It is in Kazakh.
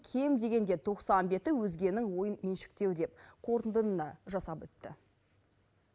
кем дегенде тоқсан беті өзгенің ойын меншіктеу деп қорытынды да жасап өтті